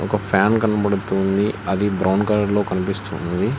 ఒక ఫ్యాన్ కనపడుతుంది అది బ్రౌన్ కలర్ లో కనిపిస్తుంది.